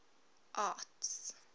arts